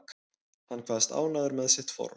Hann kvaðst ánægður með sitt form